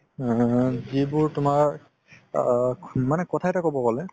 আ যিবোৰ তুমাৰ আ কথা এটা ক'ব গ'লে